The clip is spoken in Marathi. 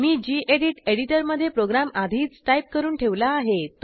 मी गेडीत एडिटरमधे प्रोग्रॅम आधीच टाईप करून ठेवला आहे